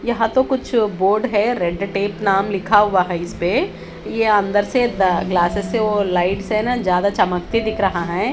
यहाँ तो कुछ बोर्ड है रेड टेप नाम लिखा हुआ है इसपे ये अंदर से दा अ ग्लासेस से वो लाईट्स है ना ज्यादा चमकते दिख रहा है।